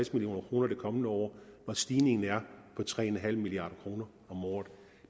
million kroner det kommende år når stigningen er på tre milliard kroner om året